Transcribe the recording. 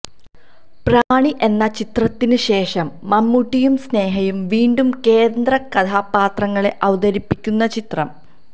പ്രമാണി എന്ന ചിത്രത്തിന് ശേഷം മമ്മൂട്ടിയും സ്നേഹയും വീണ്ടും കേന്ദ്ര കഥാപാത്രങ്ങളെ അവതരിപ്പിക്കുന്ന ചിത്രം